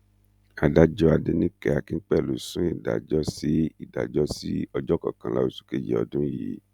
adájọ adẹnìke akínpẹlú sún ìdájọ sí ìdájọ sí ọjọ kọkànlá oṣù kejì ọdún yìí